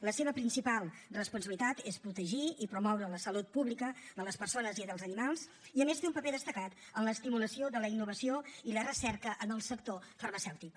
la seva principal responsabilitat és protegir i promoure la salut pública de les persones i dels animals i a més té un paper destacat en l’estimulació de la innovació i la recerca en el sector farmacèutic